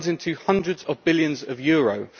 It runs into hundreds of billions of euros.